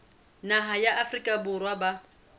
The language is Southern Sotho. naha ya afrika borwa ba